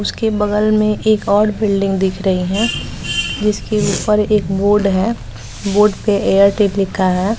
उसके बगल में एक और बिल्डिंग दिख रही है जिसके ऊपर एक बोर्ड है बोर्ड पर एयरटेल लिखा है।